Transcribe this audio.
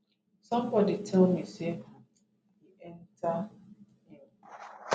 somebodi tell me say um e enta im